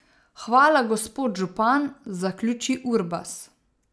Hvala, gospod župan, zaključi Urbas.